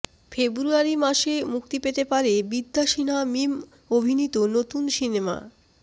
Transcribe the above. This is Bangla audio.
ফেব্রুয়ারি মাসে মুক্তি পেতে পারে বিদ্যা সিনহা মিম অভিনীত নতুন সিনেমা